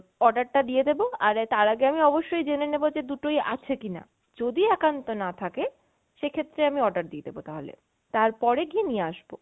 order টা দিয়ে দেবো আর তার আগে অবশ্যই আমি জেনে নেবো যে দুটোই আছে কিনা। যদি একান্ত না থাকে সেক্ষেত্রে আমি order দিয়ে দেবো তাহলে, তারপরে গিয়ে নিয়ে আসবো।